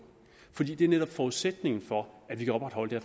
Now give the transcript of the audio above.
fordi det er netop forudsætningen for at vi kan opretholde det